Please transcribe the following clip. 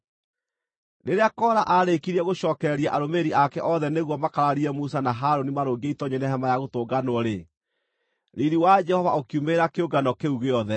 Rĩrĩa Kora aarĩkirie gũcookereria arũmĩrĩri ake othe nĩguo makararie Musa na Harũni marũngiĩ itoonyero-inĩ rĩa Hema-ya-Gũtũnganwo-rĩ, riiri wa Jehova ũkiumĩrĩra kĩũngano kĩu gĩothe.